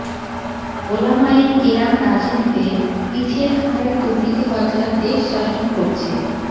ওলামায়ে কেরাম রাজনীতিতে পিছিয়ে থাকায় দুর্নীতিবাজরা দেশ শাসন করছে